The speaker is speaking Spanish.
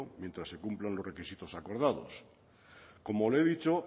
mientras se cumplan los requisitos acordados como le he dicho